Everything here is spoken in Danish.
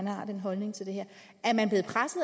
har den holdning til det her